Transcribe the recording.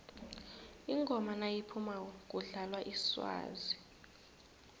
ingoma nayiphumako kudlalwa iswazi